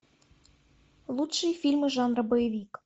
лучшие фильмы жанра боевик